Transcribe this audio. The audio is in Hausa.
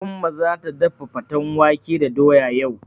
Umma zata dafa faten wake da doya yau.